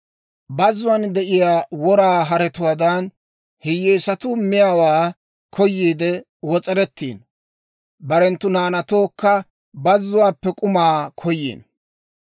Bazzuwaan de'iyaa wora haretuwaadan, hiyyeesatuu miyaawaa koyiidde wos'erettiino, barenttu naanatookka bazzuwaappe k'umaa koyiino.